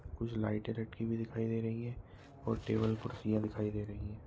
कुछ लाइटें रख्खी हुई दिखाई दे रही है और टेबल कुरसिया दिखाई दे रही है।